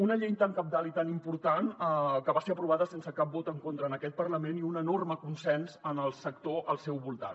una llei tan cabdal i tan important que va ser aprovada sense cap vot en contra en aquest parlament i un enorme consens en el sector al seu voltant